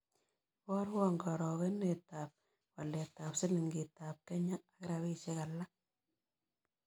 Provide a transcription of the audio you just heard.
Iborwon karogenetap waletap silingiitap kenya ak rabisyek alak